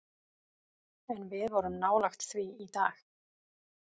En við vorum nálægt því í dag.